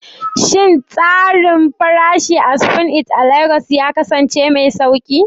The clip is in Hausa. Shin tsarin farashi a Spoon It a Legas ya kasance mai sauƙi?